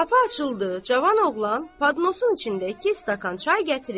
Qapı açıldı, cavan oğlan padnosun içində iki stəkan çay gətirib,